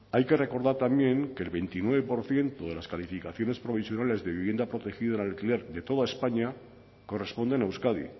hay que recordar también que el veintinueve por ciento de las calificaciones provisionales de vivienda protegida en alquiler de toda españa corresponden a euskadi